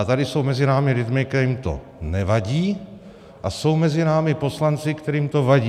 A tady jsou mezi námi lidi, kterým to nevadí, a jsou mezi námi poslanci, kterým to vadí.